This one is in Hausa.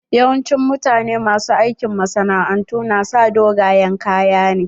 Yawancin mutane ma su aikin masana'antu na sa dogayen kaya ne.